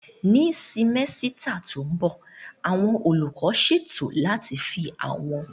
Ní simẹ́sítà tó mbọ̀, àwọn olùkọ́ ṣètò láti fi àwọn